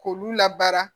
K'olu labara